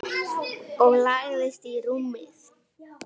Og lagðist í rúmið.